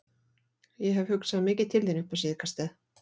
Ég hef hugsað mikið til þín upp á síðkastið.